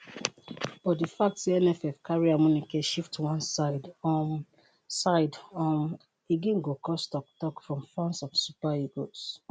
but di fact say nff carry amuneke shift one side um side um again go cause tok-tok from fans of super eagles.